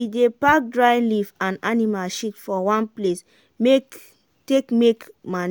if you plant beans and vegetable togeda e go supply de sansan all de beta beta tins wey e need.